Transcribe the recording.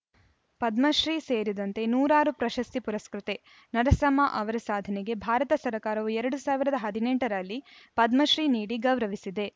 ಪದ್ಮಶ್ರೀ ಸೇರಿದಂತೆ ನೂರಾರು ಪ್ರಶಸ್ತಿ ಪುರಸ್ಕೃತೆ ನರಸಮ್ಮ ಅವರ ಸಾಧನೆಗೆ ಭಾರತ ಸರ್ಕಾರವು ಎರಡ್ ಸಾವಿರದ ಹದಿನೆಂಟ ರಲ್ಲಿ ಪದ್ಮಶ್ರೀ ನೀಡಿ ಗೌರವಿಸಿದೆ